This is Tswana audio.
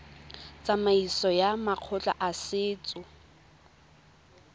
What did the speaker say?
tsamaisong ya makgotla a setso